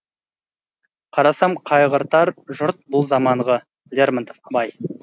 қарасам қайғыртар жұрт бұл заманғы лермонтов абай